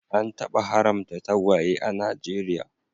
An taba haramta tagwaye a Najeriya